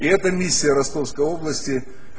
и эта миссия ростовской области